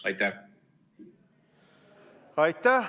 Aitäh!